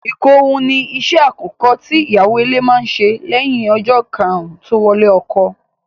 Ìkọrún ni iṣẹ́ àkọ́kọ́ tí ìyàwó ilé máa ń ṣe lẹ́yìn ọjọ́ karùn-ún tó wọlé ọkọ.